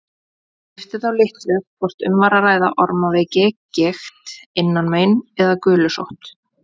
Skipti þá litlu hvort um var að ræða ormaveiki, gigt, innanmein eða gulusótt.